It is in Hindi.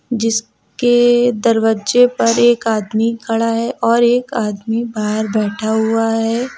जिसके दरवाजे पर एक आदमी खड़ा है और एक आदमी बाहर बैठा हुआ है।